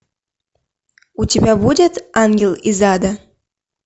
у тебя будет ангел из ада